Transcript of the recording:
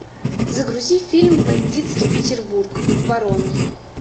загрузи фильм бандитский петербург барон